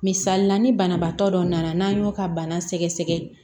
Misali la ni banabaatɔ dɔ nana n'an y'o ka bana sɛgɛsɛgɛ